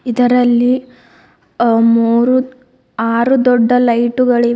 ಇದರಲ್ಲಿ ಅ ಮೂರು ಆರು ದೊಡ್ಡ ಲೈಟುಗಳಿವೆ.